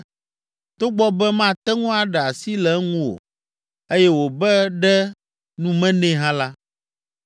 togbɔ be mate ŋu aɖe asi le eŋu o eye wòbe ɖe nu me nɛ hã la,